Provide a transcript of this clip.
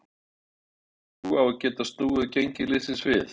Hefurðu trú á að geta snúið gengi liðsins við?